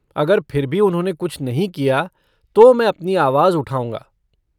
अगर फिर भी उन्होंने कुछ नहीं किया तो मैं अपनी आवाज़ उठाउंगा।